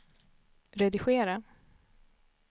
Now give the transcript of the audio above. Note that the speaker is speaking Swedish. redigera